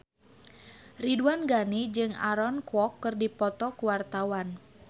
Ridwan Ghani jeung Aaron Kwok keur dipoto ku wartawan